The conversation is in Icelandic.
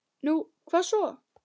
Nú, hvað svo?